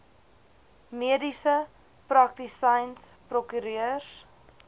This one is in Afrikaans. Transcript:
mediese praktisyns prokureurs